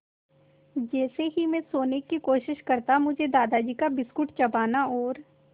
जैसे ही मैं सोने की कोशिश करता मुझे दादाजी का बिस्कुट चबाना और